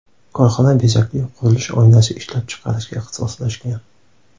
Korxona bezakli qurilish oynasi ishlab chiqarishga ixtisoslashgan.